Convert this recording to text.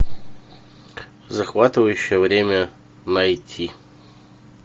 захватывающее время найти